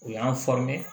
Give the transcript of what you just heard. U y'an